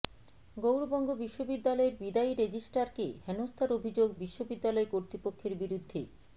গৌড়বঙ্গ বিশ্ববিদ্যালয়ের বিদায়ী রেজিস্ট্রারকে হেনস্থার অভিযোগ বিশ্ববিদ্যালয় কর্তৃপক্ষের বিরুদ্ধে